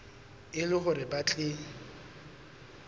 e le hore ba tle